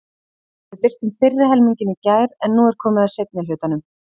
Við birtum fyrri helminginn í gær en nú er komið að seinni hlutanum.